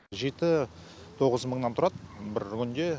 жеті тоғыз мыңнан тұрады бір күнде